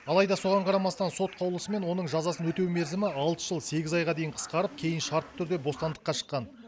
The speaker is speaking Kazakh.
алайда соған қарамастан сот қаулысымен оның жазасын өтеу мерзімі алты жыл сегіз айға дейін қысқарып кейін шартты түрде бостандыққа шыққан